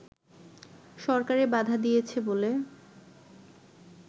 সরকারের বাধা দিয়েছে বলে